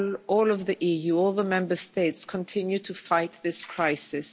All of the EU, all the Member States continue to fight this crisis.